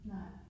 Nej